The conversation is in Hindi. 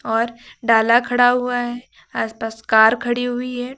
और डाला खड़ा हुआ है आस पास कार खड़ी हुई है।